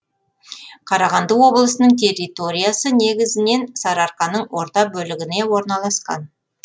қарағанды облысының территориясы негізінен сарыарқаның орта бөлігіне орналасқан